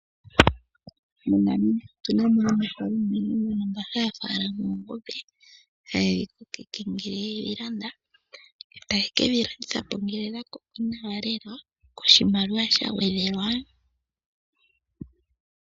MoNamibia otu namo aanafalama mbaa haya falama oongombe hayeyi kokeke ngele yeyi landa. Taye kedhi landitha po ngele odha koko nawa lela. Oshimaliwa sha gwedhelwa.